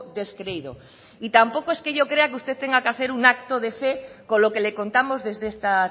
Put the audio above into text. descreído y tampoco es que yo crea que usted tenga que hacer un acto de fe con lo que le contamos desde esta